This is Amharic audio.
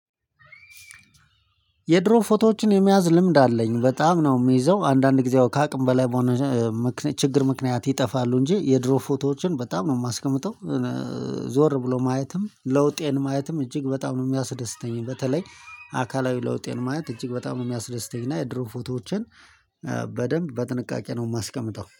የድሮ ፎቶዎችን የመያዝ ልምድ አለኝ በጣም ነው የሚይዘው አንዳንድ ጊዜ ከአቅም በላይ በሆነ ችግር ምክንያት ይጠፋሉ እንጂ የድሮ ፎቶዎችን በጣም ነው የማስቀምጠው። ዞር ብሎ ማየትም ለውጤን ማየትም እጅግ በጣም ነው የሚያስደስተኝ በተለይ አካላዊ ለውጤን ማየት እጅግ በጣም ነው የሚያስደስተኝ። እና የድሮ ፎቶዎቼን በደንብ በጥንቃቄ ነው የማስቀምጠው